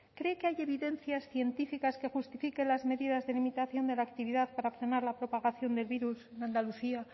cree que hay evidencias científicas que justifiquen las medidas de limitación de la actividad para frenar la propagación del virus en andalucía